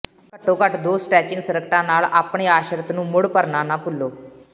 ਘੱਟੋ ਘੱਟ ਦੋ ਸਟੈਚਿੰਗ ਸਕਰਟਾਂ ਨਾਲ ਆਪਣੇ ਆਸ਼ਰਿਤ ਨੂੰ ਮੁੜ ਭਰਨਾ ਨਾ ਭੁੱਲੋ